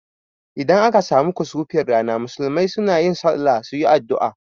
Idan aka samu kusufin rana, musulmai sunayin sallah suyi addua